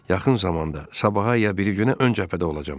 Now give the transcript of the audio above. Yaxın zamanda, sabaha ya biri günə ön cəbhədə olacağam.